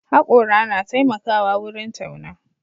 Haƙora na taimakawa wurin tauna.